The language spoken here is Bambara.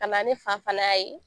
Ka na ni fa fana ye